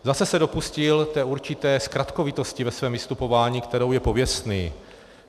Zase se dopustil té určité zkratkovitosti ve svém vystupování, kterou je pověstný.